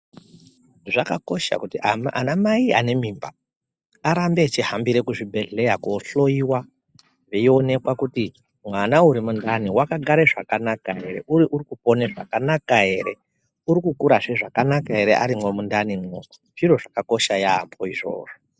Zvakakosha kuti anamai anemimba arambe echihambire kuzvibhehleya kohloyiwa veionekwa kuti mwana urimundani wakagara zvakanaka ere uye urikopona zvakanaka ere urikukurazve zvakanaka ere arimwo mundanimwo zviro zvakakosha yaamho izvozvo.